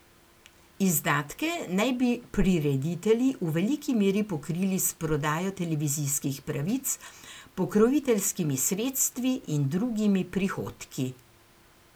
Izdatke naj bi prireditelji v veliki meri pokrili s prodajo televizijskih pravic, pokroviteljskimi sredstvi in drugimi prihodki.